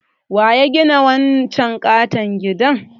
Waya gina wancan katon gidan?